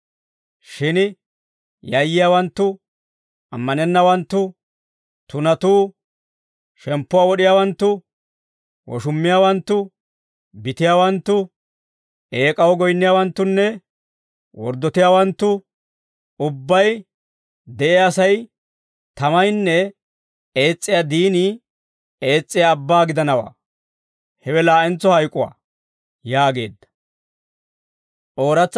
Shin yayyiyaawanttu, ammanennawanttu, tunatuu, shemppuwaa wod'iyaawanttu, woshummiyaawanttu, bitiyaawanttu, eek'aw goyinniyaawanttunne worddotiyaawanttu ubbay de'iyaa sa'ay tamaynne ees's'iyaa diinii ees's'iyaa abbaa gidanawaa. Hewe laa'entso hayk'uwaa» yaageedda.